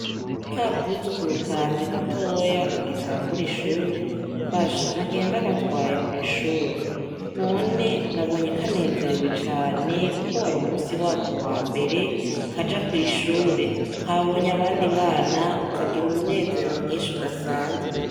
Ka kuzukuru kanje gatoya kagitangura ishure, basha nagiye ndagatwaye kw'ishure, none nabonye kanezerewe cane, kuko wari umusi wako wa mbere kaja kw'ishure, kabonye abandi bana kagira umunezero mwinshi udasanzwe.